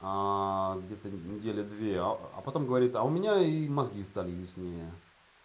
где то недели две а а потом говорит а у меня и мозги стали яснее